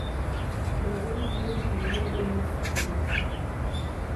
Daa'uud wuu diiday inuu sacii liso